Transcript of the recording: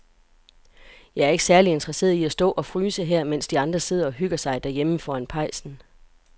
Jeg er ikke særlig interesseret i at stå og fryse her, mens de andre sidder og hygger sig derhjemme foran pejsen.